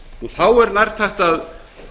þá er nærtækt að